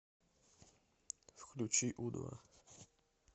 включи у два